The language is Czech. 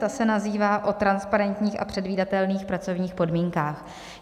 Ta se nazývá o transparentních a předvídatelných pracovních podmínkách.